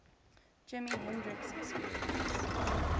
jimi hendrix experience